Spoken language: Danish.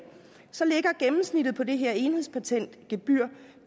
så ligger gennemsnittet på det her enhedspatentgebyr